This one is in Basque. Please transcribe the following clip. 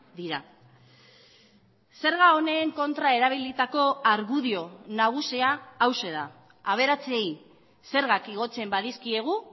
dira zerga honen kontra erabilitako argudio nagusia hauxe da aberatsei zergak igotzen badizkiegu